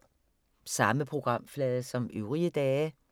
Samme programflade som øvrige dage